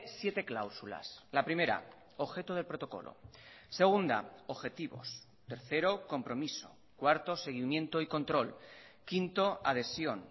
siete cláusulas la primera objeto del protocolo segunda objetivos tercero compromiso cuarto seguimiento y control quinto adhesión